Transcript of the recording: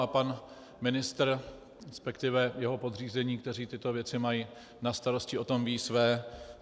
A pan ministr - respektive jeho podřízení, kteří tyto věci mají na starosti, o tom vědí své.